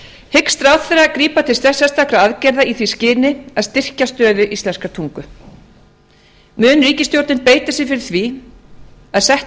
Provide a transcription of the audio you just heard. hyggst ráðherra grípa til sérstakra aðgerða í því skyni að styrkja stöðu íslenskrar tungu mun ríkisstjórnin beita sér fyrir því að sett